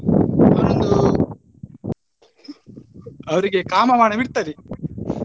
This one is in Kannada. ಅವನೊಂದು ಅವರಿಗೆ ಕಾಮ ಬಾಣ ಬಿಟ್ಟ್ತದೆ.